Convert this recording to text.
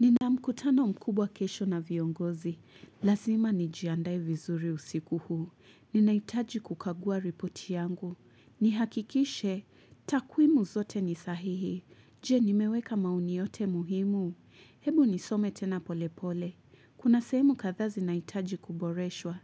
Nina mkutano mkubwa kesho na viongozi. Lasima nijiandae vizuri usiku huu. Ninahitaji kukagua ripoti yangu. Nihakikishe, takwimu zote nisahihi. Je, nimeweka maoni yote muhimu?. Hebu nisome tena pole pole. Kuna sehemu kadhaa zinahitaji kuboreshwa.